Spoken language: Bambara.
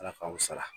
Ala k'aw sara